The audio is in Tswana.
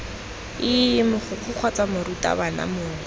ii mogokgo kgotsa morutabana mongwe